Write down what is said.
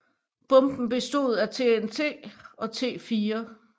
Bomben bestod af TNT og T4